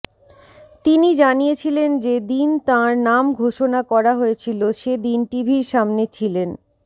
তিনি জানিয়েছিলেন যে দিন তাঁর নাম ঘোষণা করা হয়েছিল সে দিন টিভির সামনে ছিলেন